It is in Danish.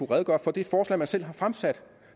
redegøre for det forslag man selv har fremsat